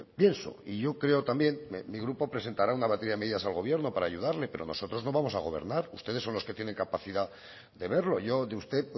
pienso y yo creo también mi grupo presentará una batida de medidas al gobierno para ayudarle pero nosotros no vamos a gobernar ustedes son los que tienen capacidad de verlo yo de usted